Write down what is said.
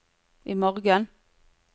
imorgen